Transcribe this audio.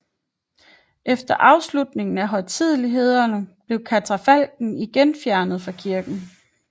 Efter afslutningen af højtidelighederne blev katafalken igen fjernet fra kirken